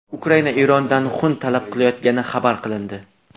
Ukraina Erondan xun talab qilayotgani xabar qilindi.